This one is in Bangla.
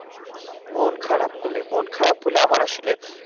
মন খারাপ হলে মন খারাপ হলে আমার আসলে